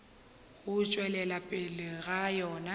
go tšwelela pele ga yona